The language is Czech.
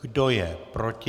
Kdo je proti?